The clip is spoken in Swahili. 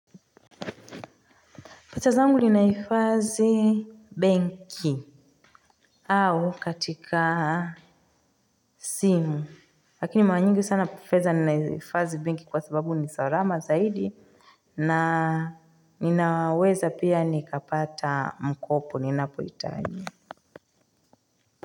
Pesa zangu ninahifadhi benki au katika simu. Lakini mara nyingi sana pesa ninahifadhi benki kwa sababu ni salama zaidi. Na ninaweza pia nikapata mkopo ninapohitaji.